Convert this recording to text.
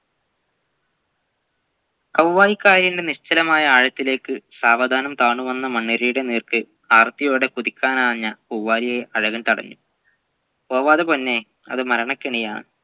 കൊവ്വായി കായലിൻെറ നിശ്ചലമായ ആഴത്തിലേക് സാവധാനം താണുവന്ന മണ്ണിരയുടെ നേർക്ക് ആർത്തിയോടെ കുതിക്കാനാഞ്ഞ പൂവാലിയെ അലകൾ തടഞ്ഞു പോവാതെ പൊന്നെ അതു മരണകെണിയാണ്